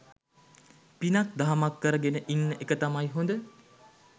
පිනක් දහමක් කරගෙන ඉන්න එක තමයි හොද